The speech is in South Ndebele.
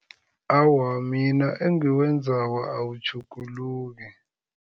Awa, mina engiwenzako awutjhuguluki.